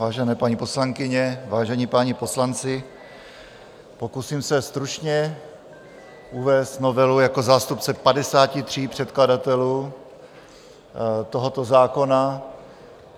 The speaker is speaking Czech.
Vážené paní poslankyně, vážení páni poslanci, pokusím se stručně uvést novelu jako zástupce 53 předkladatelů tohoto zákona.